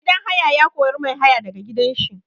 Mai gidan haya ya kori mai haya da ga gidan shi.